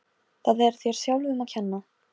Það er þér sjálfum að kenna.